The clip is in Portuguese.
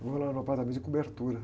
Eu vou lá no apartamento de cobertura.